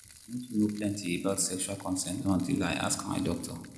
i no too know plenty about sexual consent until i ask my doctor.